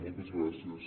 moltes gràcies